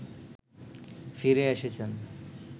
ফিরে এসেছেন